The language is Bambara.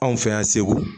Anw fɛ yan segu